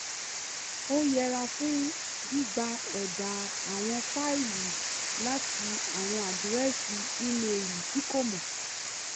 ó yẹra fún gbígba èdà àwọn fáìlì láti àwọn àdírẹ́sì ímeìlì tí kò mọ̀